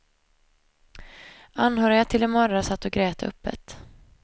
Anhöriga till de mördade satt och grät öppet.